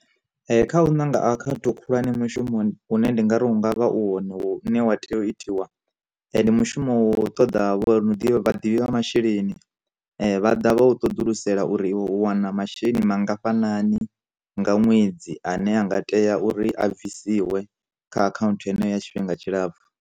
Kha u ṋanga akhaunthu khulwane mushumoni hune ndi ngari hungavha u hone hu ne wa tea u itiwa, ndi mushumo u ṱoḓa vho uri ni ḓivhe vhaḓivhi vha masheleni vhaḓa vha u ṱoḓulusisa uri iwe u wana masheleni mangafhani nga ṅwedzi ane anga tea uri a bvisiwa kha akhanthu heneyo ya tshifhinga tshilapfu.